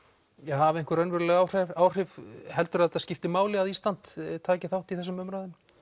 hafi einhver raunveruleg áhrif áhrif heldurðu að þetta skipti máli að Ísland taki þátt í þessum umræðum